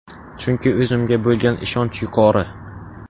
Chunki o‘zimga bo‘lgan ishonch yuqori!